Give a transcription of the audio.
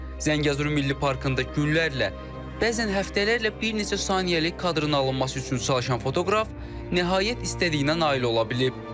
Zəngəzur Milli Parkında günlərlə, bəzən həftələrlə bir neçə saniyəlik kadrın alınması üçün çalışan fotoqraf nəhayət istədiyinə nail ola bilib.